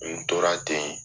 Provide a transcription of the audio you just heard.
N tora ten